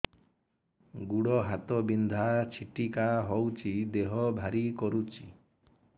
ଗୁଡ଼ ହାତ ବିନ୍ଧା ଛିଟିକା ହଉଚି ଦେହ ଭାରି କରୁଚି